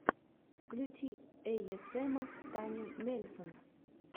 включи эйэсэма таню мельсон